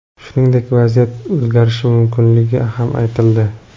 Shuningdek, vaziyat o‘zgarishi mumkinligi ham aytildi.